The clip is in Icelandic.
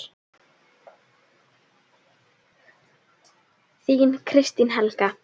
Þín, Kristín Helga.